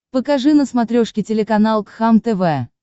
покажи на смотрешке телеканал кхлм тв